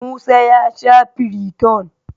Musa ya sha Firiton.